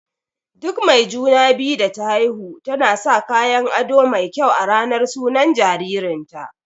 Duk mai juna-biyu da ta haihu tana sa kayan aɗo mai kyau a ranar sunan jaririn ta.